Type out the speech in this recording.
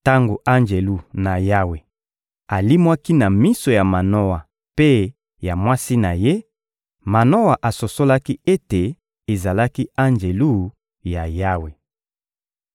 Tango Anjelu na Yawe alimwaki na miso ya Manoa mpe ya mwasi na ye, Manoa asosolaki ete ezalaki Anjelu ya Yawe.